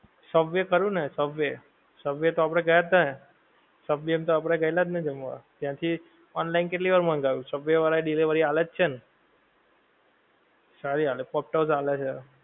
Subway ખરું ને Subway. Subway તો આપડે ગયા જ તાં ને સબવે ની અંદર આપડે ગયેલા જ ને જમવા ત્યાંથી online કેટલી વાર મંગાયુ સબવે વાળાં એ delivery આલે જ છે ને, સારી આલે છે. ઑક્ટસ્ આલે છે.